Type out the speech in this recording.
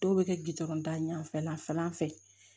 Dɔw bɛ kɛ gdɔrɔn da ɲɛfɛ la fɛlan fɛ